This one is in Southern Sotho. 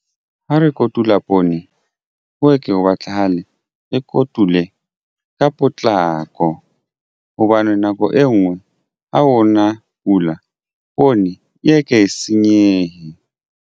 Ha re kotula poone ho ke ho batlahale re kotule ka potlako hobane nako e nngwe ha o na pula poone e ye ke e senyehe.